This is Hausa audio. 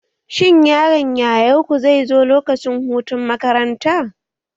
Shin yaron yayarku zai zo lokacin hutun makaranta?